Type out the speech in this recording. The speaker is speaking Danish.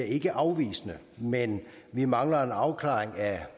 ikke er afvisende men vi mangler en afklaring af